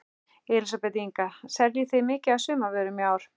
Elísabet Inga: Seljið þið mikið af sumarvörum í ár?